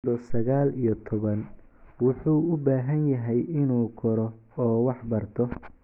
Marka uu jiro sagaal iyo toban, wuxuu u baahan yahay inuu koro oo wax barto.